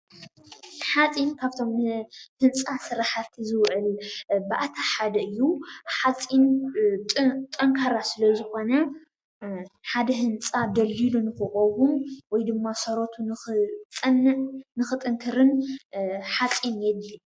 ሓፂን ካብ'ቶም ንህንፃ ስራሓቲ ዝውዕሉ ባእታ ሓደ እዩ:: ሓፂን ጠንካራ ስለ ዝኮነ ሓደ ህንፃ ደልዲሉ ንክቀውም ወይ ድማ ሰረቱ ንክፀንዕ ንክጥንክርን ሓፂን የድሊ።